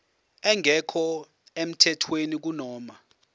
engekho emthethweni kunoma